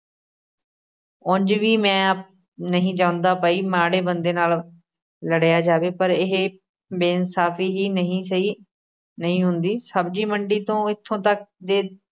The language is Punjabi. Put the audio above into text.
ਉਂਞ ਵੀ ਮੈਂ ਨਹੀਂ ਚਾਹੁੰਦਾ ਪਈ ਮਾੜੇ ਬੰਦੇ ਨਾਲ਼ ਲੜਿਆ ਜਾਵੇ ਪਰ ਇਹ ਬੇਇਨਸਾਫ਼ੀ ਹੀ ਨਹੀਂ ਸਹਿ ਨਹੀਂ ਹੁੰਦੀ, ਸਬਜ਼ੀ-ਮੰਡੀ ਤੋਂ ਇਥੋਂ ਤੱਕ ਦੇ